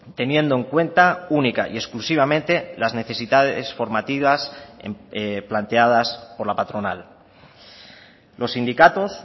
teniendo en cuenta única y exclusivamente las necesidades formativas planteadas por la patronal los sindicatos